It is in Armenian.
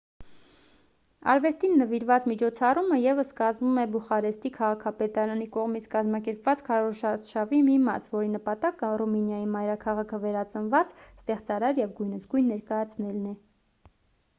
արվեստին նվիրված միջոցառումը ևս կազմում է բուխարեստի քաղաքապետարանի կողմից կազմակերպված քարոզարշավի մի մաս որի նպատակը ռումինիայի մայրաքաղաքը վերածնված ստեղծարար և գույնզգույն ներկայացնելն է